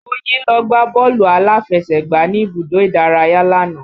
Moyin lọ gbá bọ́ọ̀lù aláfẹsẹ̀gbá ní ibùdó ìdárayá lánàá